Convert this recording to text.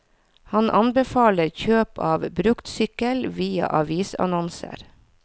Han anbefaler kjøp av bruktsykkel via avisannonser.